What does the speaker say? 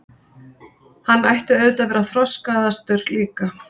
Hann ætti auðvitað að vera þroskaðastur líka.